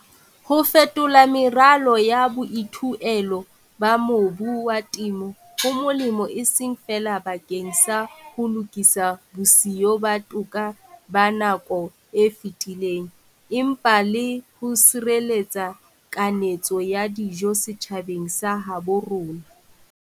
Ho fetola meralo ya boithuelo ba mobu wa temo ho molemo e seng feela bakeng sa ho lokisa bosiyo ba toka ba nako e fetileng, empa le ho sireletsa kanetso ya dijo setjhabeng sa habo rona.